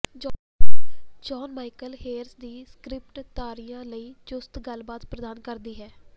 John Michael Hayes ਦੀ script ਤਾਰਿਆਂ ਲਈ ਚੁਸਤ ਗੱਲਬਾਤ ਪ੍ਰਦਾਨ ਕਰਦੀ ਹੈ